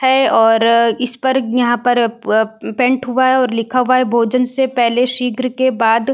हैं और इसपर यहाँ पर प-पैंट हुआ हैं और लिखा हुआ हैं भोजन से पहले शीघ्र के बाद --